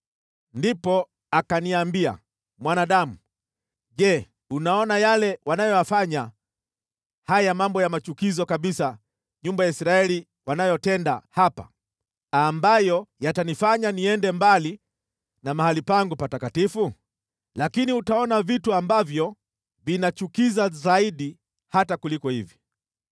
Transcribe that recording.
Ndipo akaniambia, “Mwanadamu, je, unaona yale wanayofanya, haya mambo ya machukizo kabisa nyumba ya Israeli wanayotenda hapa, ambayo yatanifanya niende mbali na mahali pangu patakatifu? Lakini utaona vitu ambavyo vinachukiza zaidi hata kuliko hivi.”